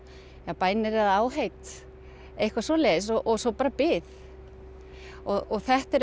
bænir eða áheit eitthvað svoleiðis og svo bara bið þetta er